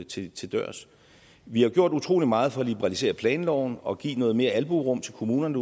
til til dørs vi har gjort utrolig meget for at liberalisere planloven og give noget mere albuerum til kommunerne